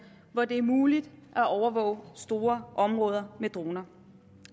hvor det er muligt at overvåge store områder med droner